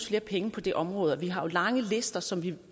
flere penge på det område og vi har jo lange lister som vi